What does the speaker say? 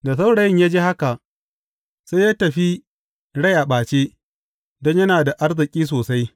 Da saurayin ya ji haka, sai ya tafi rai a ɓace, don yana da arziki sosai.